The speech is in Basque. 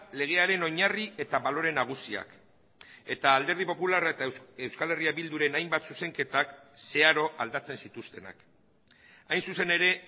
legearen oinarri eta balore nagusiak eta alderdi popularra eta euskal herria bilduren hainbat zuzenketak zeharo aldatzen zituztenak hain zuzen ere